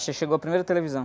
Chegou a primeira televisão.